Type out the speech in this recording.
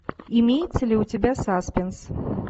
имеется ли у тебя саспенс